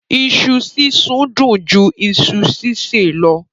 iṣu sisùn dùn jù iṣu ṣiṣẹ lọ.